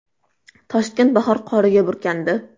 Toshkent bahor qoriga burkandi .